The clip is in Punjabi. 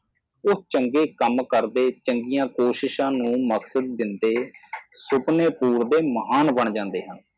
ਉਹ ਚੰਗੇ ਕੰਮ ਕਰਦੇ ਚੰਗੀਆਂ ਕੋਸ਼ਿਸ਼ਾਂ ਨੂੰ ਮੱਕਸਦ ਦਿੰਦੇ ਸੁਪਣੇ ਤੋੜਦੇ ਮਹਾਨ ਬਣ ਜਾਂਦੇ ਹਨ